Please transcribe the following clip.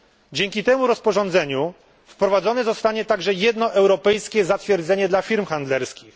Dzięki temu rozporządzeniu wprowadzone zostanie także jedno europejskie zatwierdzenie dla firm handlerskich.